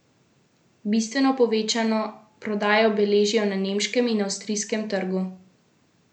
Bistveno povečano prodajo beležijo na nemškem in avstrijskem trgu.